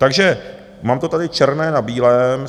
Takže mám to tady černé na bílém.